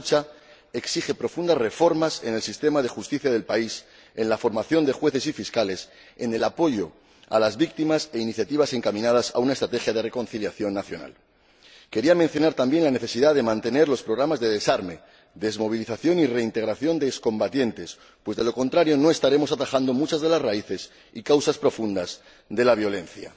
Esa lucha exige profundas reformas en el sistema de justicia del país, en la formación de jueces y fiscales y en el apoyo a las víctimas, así como iniciativas encaminadas a una estrategia de reconciliación nacional. Quería mencionar también la necesidad de mantener los programas de desarme, desmovilización y reintegración de excombatientes pues, de lo contrario, no estaremos atajando muchas de las raíces y causas profundas de la violencia.